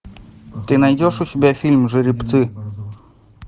ты найдешь у себя фильм жеребцы